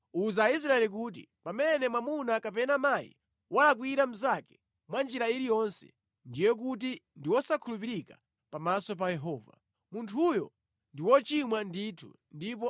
“Uza Aisraeli kuti, ‘Pamene mwamuna kapena mayi walakwira mnzake mwa njira iliyonse, ndiye kuti ndi wosakhulupirika pamaso pa Yehova. Munthuyo ndi wochimwa ndithu ndipo